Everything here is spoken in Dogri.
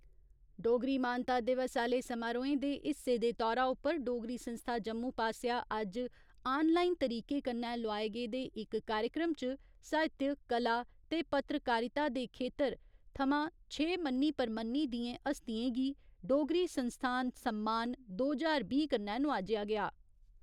डोगरी मानता दिवस आहले समारोहें दे हिस्से दे तौरा उप्पर डोगरी संस्था जम्मू पास्सेआ अज्ज आनलाईन तरीके कन्नै लोआए गेदे इक कार्यक्रम च, साहित्य, कला ते पत्रकारिता दे खेत्तर थमां छे मन्नी परमन्नी दियें हस्तियें गी डोगरी संस्थान सम्मान दो ज्हार बीह् कन्नै नवाजेआ गेआ।